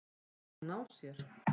Mun hún ná sér?